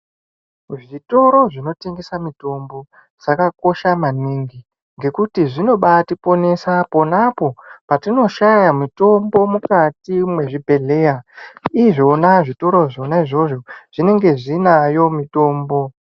Zvikoro zvinotengesa mitombo zvakakosha maningi ngekuti zvinobatiponesa ponapo patinoshaya mitombo mukati mwezvibhehleya izvona zvitoro zvona izvozvo zvinenge zvinayo mitombo.